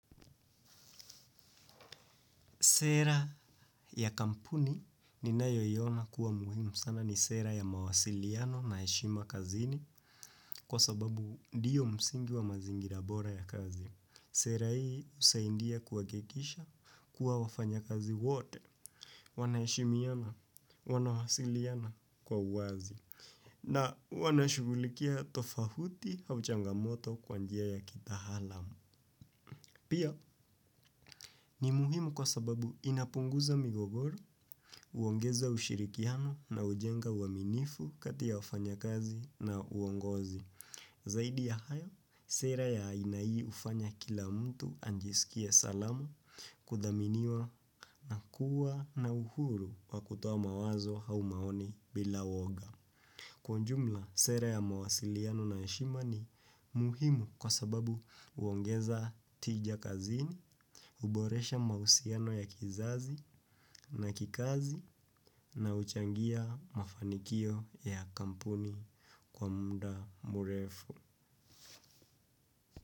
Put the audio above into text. Sera ya kampuni ninayo iona kuwa muhimu sana ni sera ya mawasiliano na heshima kazini kwa sababu ndiyo msingi wa mazingira bora ya kazi. Sera hii usahindia kuhakikisha kuwa wafanya kazi wote wana heshimiana wanawasiliana kwa wazi na wanashugulikia tofahuti au changamoto kwa njia ya kitaalamu. Pia ni muhimu kwa sababu inapunguza migogoro, huongeza ushirikiano na hujenga uaminifu kati ya wafanya kazi na uongozi. Zaidi ya hayo, sera ya ina ii hufanya kila mtu anjisikie salamu kudhaminiwa na kuwa na uhuru wa kutoa mawazo hau maoni bila woga. Kwa jumla, sere ya mawasiliano na heshima ni muhimu kwa sababu uongeza tija kazini, huboresha mauhusiano ya kizazi na kikazi na uchangia mafanikio ya kampuni kwa mda murefu.